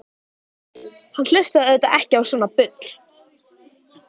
Hann hlustaði auðvitað ekki á svona bull.